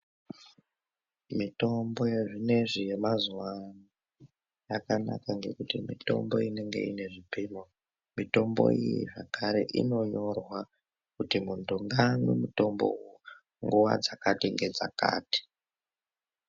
Mitombo yazvinezvi yamazuwa ano, yakanaka ngekuti mitombo inenge inezvipimo, mitombo iyi zvekare inonyorwa kuti muntu ngamwe mutombowo nguva dzakati-ngedzakati.